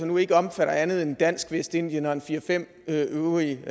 nu ikke omfatter andet end dansk vestindien og en fire fem øvrige